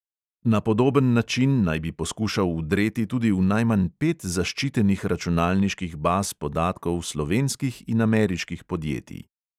Na podoben način naj bi poskušal vdreti tudi v najmanj pet zaščitenih računalniških baz podatkov slovenskih in ameriških podjetij.